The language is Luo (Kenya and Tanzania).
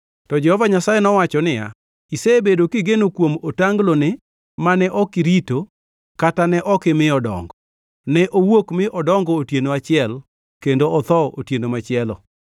To Jehova Nyasaye nowacho niya, “Isebedo kigeno kuom otangloni, mane ok irito kata ne ok imiyo dongo, ne owuok mi odongo otieno achiel, kendo otho otieno machielo.